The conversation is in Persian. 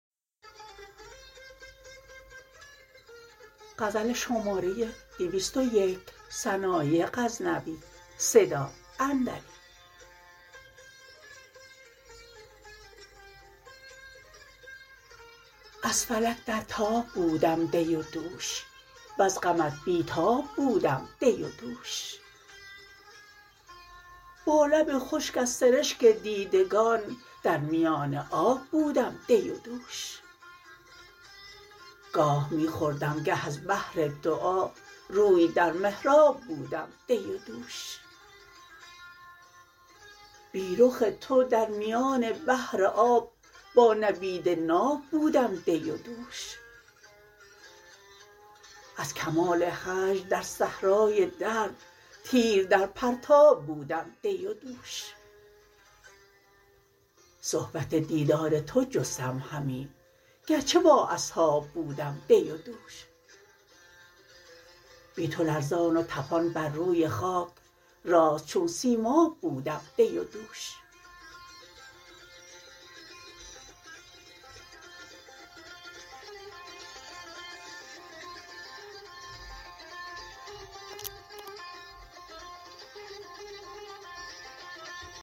از فلک در تاب بودم دی و دوش وز غمت بی تاب بودم دی و دوش با لب خشک از سرشک دیدگان در میان آب بودم دی و دوش گاه می خوردم گه از بحر دعا روی در محراب بودم دی و دوش بی رخ تو در میان بحر آب با نبید ناب بودم دی و دوش از کمال هجر در صحرای درد تیر در پرتاب بودم دی و دوش صحبت دیدار تو جستم همی گرچه با اصحاب بودم دی و دوش بی تو لرزان و طپان بر روی خاک راست چون سیماب بودم دی و دوش